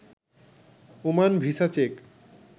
Oman visa check